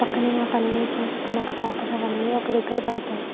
పక్కనే ఆ పని అవి చేసుకున్నాక ఆ పేపర్స్ అవన్నీ ఒక దగ్గర పెడతారు.